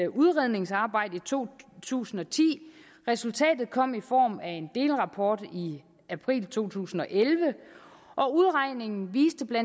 udredningsarbejde i to tusind og ti resultatet kom i form af en delrapport i april to tusind og elleve udregningen viste bla